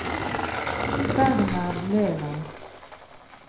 Bernhard Løland